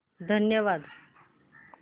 धन्यवाद